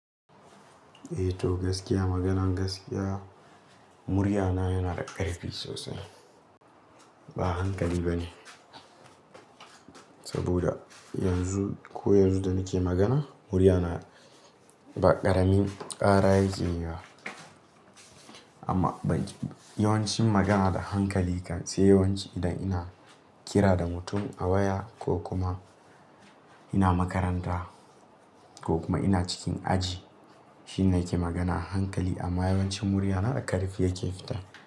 Eh to gaskiya, maganan gaskiya muryana yana da ƙarfi sosai. Ba hankali bane saboda yanzu, ko yanzu da nake magana muryana ba ƙaramin ƙara yake yi ba. Amma ba yawancin magana da hankali kan sai yawanci idan ina kira da mutum a waya ko kuma ina makaranta ko kuma ina cikin aji shine nake magana da hankali. Amma yawancin muryana da ƙarfi yake fita.